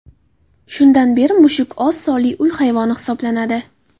Shundan beri mushuk oz sonli uy hayvoni hisoblanadi.